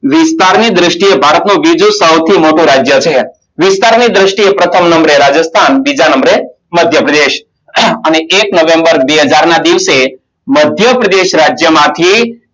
વિસ્તારની દ્રષ્ટિએ ભારત નું દિજુ સૌથી મોટું રાજ્ય છે વિસ્તારની દ્રષ્ટિએ પ્રથમ નંબરે રાજસ્થાન બીજા નંબરે મધ્યપ્રદેશ અને એક નવેમ્બર બે હજારના દિવસે મધ્યપ્રદેશ રાજ્ય માંથી